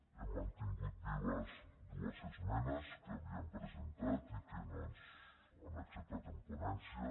hem mantingut vives dues esmenes que havíem presentat i que no ens han acceptat en ponència